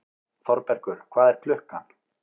Þorbergur, hvað er klukkan?